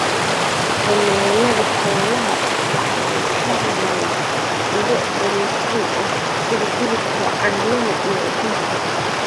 Xanaanada xoolaha waxa ay ka helaan ilo borotiin ah sida hilibka, caanaha, iyo ukunta.